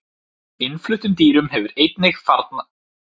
Innfluttum dýrum hefur einnig farnast vel á Svalbarða og í norður Rússlandi.